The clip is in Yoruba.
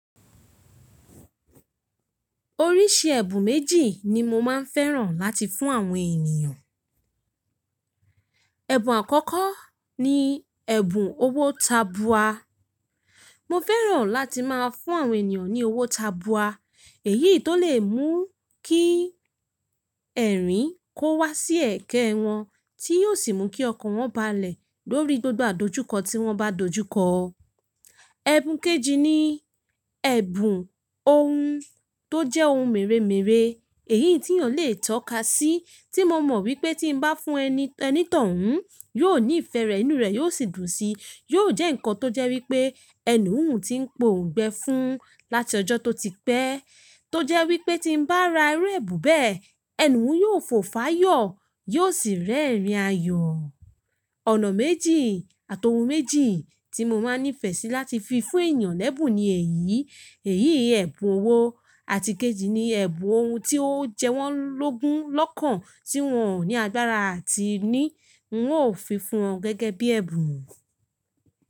Oríṣi ẹ̀bùn méjì ni mo máa ń fẹ́ràn láti fún àwọn ènìyàn. Ẹ̀bùn àkọ́kọ́ ni ẹ̀bùn owó tabua. Mo fẹ́ràn láti máa fún àwọn ènìyàn ní owó tabua. Èyí tó lè mú kí ẹ̀rín kó wá sí ẹ̀ekẹ́ wọn, tí yóò sì mú kí ọkàn wọn balẹ̀ lórí gbogbo àdojúkọ tí wọ́n bá dojúkọ. Ẹ̀bùn kejì ni ẹ̀bùn ohun tó jẹ́ ohun mèremère. Èyí tí eeyan lè tọ́ka sí, tí mo mọ wípé tí n bá fún onítọ̀hún, yóò nífẹ̀ẹ́ rẹ, inú rẹ yóò sì dùn sí yóò jẹ́ nǹkan tó jẹ́ wípé ẹni òhun ti ń poǹgbẹ fún láti ọjọ́ tó ti pẹ́. Tó jẹ́ wípé tí n bá ra irú ẹ̀bùn bẹ́ẹ̀, ẹni òhun yóò fòfáyọ̀, yóò sì rẹ́rìn ayọ̀. Ọ̀nà méjì àti ohun méjì tí mo má ń nífẹ̀ẹ́ sí láti fi fún ènìyàn lẹ́bùn ni èyí. Èyí ẹ̀bùn owó àti ikejì ni ẹ̀bùn ohun tí ó jẹ́ wọ́n lógun lọ́kàn tí wọ́n ò ní agbára àti ní ń ó fi fún wọn gẹ́gẹ́ bí ẹ̀bùn.